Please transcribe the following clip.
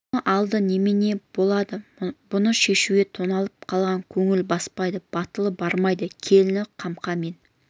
оның алды немене не болады бұны шешуге тоналып қалған көңілі баспайды батылы бармайды келіні қамқа мен